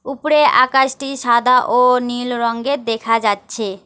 ওপরে আকাশটি সাদা ও নীল রঙ্গের দেখা যাচ্ছে।